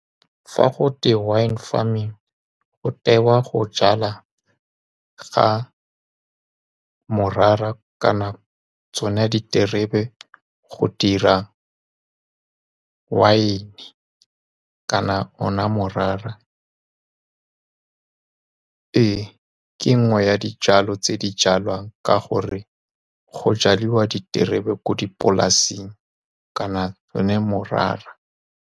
Fa go twe wine farming, go tewa go jala ga morara kana tsone diterebe go dira wine. Kana one morara, ee, ke nngwe ya dijalo tse di jalwang ka gore go jaliwa diterebe ko dipolasing kana one morara.